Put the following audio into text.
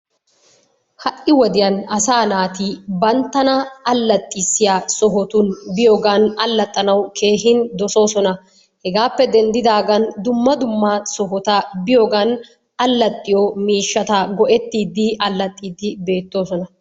Ha'i wodiyan asaa naati banttana allaxxissiya sohotun biyogaan allaxxanawu keehin dossoosona. Hegaappe denddidaagan dumma dumma sohota biyogan allaxxiyo miishshata go'ettiidi allaxxiidi beettoosona.